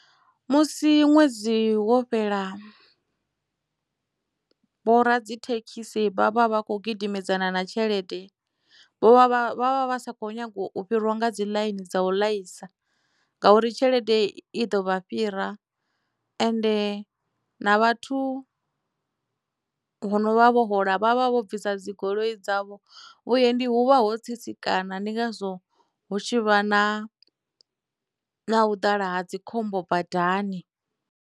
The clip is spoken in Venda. Musi ṅwedzi wo fhela vho ra dzithekhisi vha vha vha kho gidimedzana na tshelede vho vha vha vha vha vha sa kho nyaga u fhiriwa nga dzi ḽaini dza u laisa ngauri tshelede i ḓo vha fhira ende na vhathu vho no vha vho hola vhavha vho bvisa dzigoloi dzavho vhuendi huvha ho tsitsikana ndi ngazwo hu tshivha na na u ḓala ha dzikhombo badani.